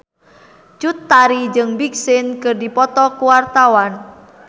Cut Tari jeung Big Sean keur dipoto ku wartawan